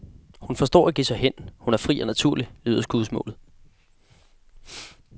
Hun forstår at give sig hen, hun er fri og naturlig, lyder skudsmålet.